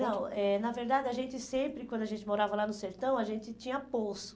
Não, eh na verdade, a gente sempre, quando a gente morava lá no sertão, a gente tinha poço.